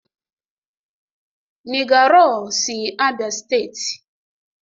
nigger raw si Abia steeti.